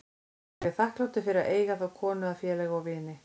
Ég er þakklátur fyrir að eiga þá konu að félaga og vini.